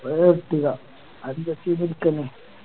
അത് പറ്റൂല അത്